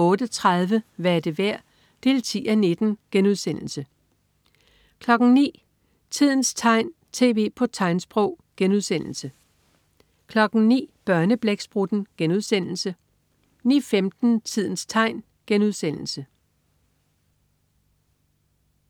08.30 Hvad er det værd? 10:19* 09.00 Tidens tegn, tv på tegnsprog* 09.00 Børneblæksprutten* 09.15 Tidens tegn*